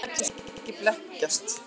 Elín lætur samt ekki blekkjast.